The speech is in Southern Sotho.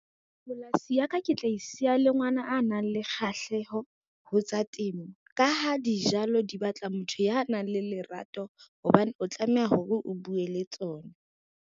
Polasi ya ka ke tla e siya le ngwana a nang le kgahleho ho tsa temo, ka ha dijalo di batla motho ya nang le lerato hobane o tlameha hore o bue le tsona.